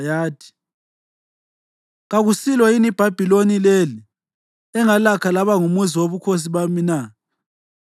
yathi, “Kakusilo yini iBhabhiloni leli engalakha laba ngumuzi wobukhosi bami na?”